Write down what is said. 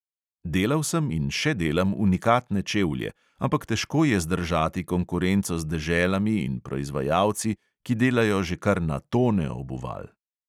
Delal sem in še delam unikatne čevlje, ampak težko je zdržati konkurenco z deželami in proizvajalci, ki delajo že kar na tone obuval.